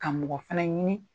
Ka mɔgɔ fana ɲini